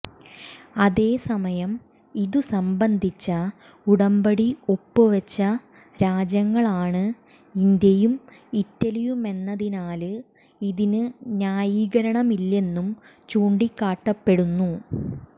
അതേസമയം ഇതുസംബന്ധിച്ച ഉടമ്പടി ഒപ്പുവെച്ച രാജ്യങ്ങളാണ് ഇന്ത്യയും ഇറ്റലിയുമെന്നതിനാല് ഇതിന് ന്യായീകരണമില്ലെന്നും ചൂണ്ടിക്കാട്ടപ്പെടുന്നു